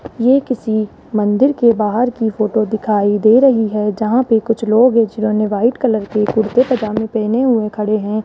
ये किसी मंदिर के बाहर की फोटो दिखाई दे रही है जहां पे कुछ लोग जिन्होंने वाइट कलर के कुर्ते पजामे पहने हुए खड़े हैं।